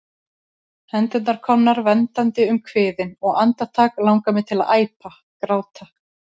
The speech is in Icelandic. Hendurnar komnar verndandi um kviðinn, og andartak langar mig til að æpa, gráta.